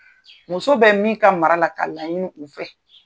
Muso bɛ min ka mara la ka laɲini u fɛ.